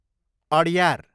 Adyar